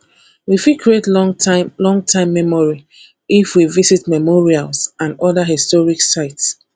we fit create long time long time memory if we visit memorials and oda historic sites